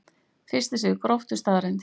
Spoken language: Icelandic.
Fyrsti sigur Gróttu staðreynd